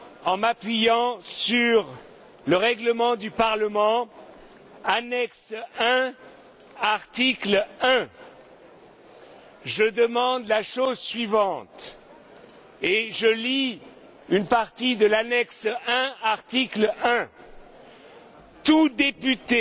en m'appuyant sur le règlement du Parlement, annexe I, article 1, je demande la chose suivante, et je lis une partie de l'annexe I, article 1 Tout député